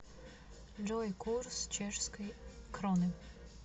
джой курс чешской кроны